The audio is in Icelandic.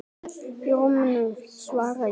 Í rúminu sínu, svara ég.